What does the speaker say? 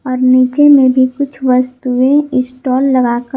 और नीचे में भी कुछ वस्तुएं स्टॉल लगा कर--